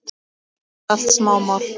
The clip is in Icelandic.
Helst eru þetta allt smámál.